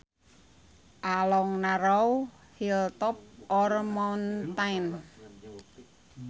A long narrow hilltop or mountain